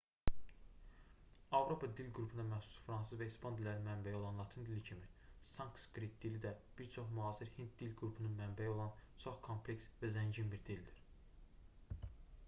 avropa dil qrupuna məxsus fransız və ispan dillərinin mənbəyi olan latın dili kimi sanskrit dili də bir çox müasir hind dil qrupunun mənbəyi olan çox kompleks və zəngin bir dildir